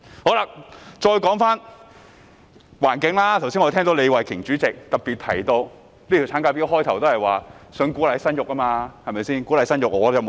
現在說回環境，剛才聽到代理主席李慧琼議員特別提到，這項產假法案一開始也是旨在鼓勵生育，對嗎？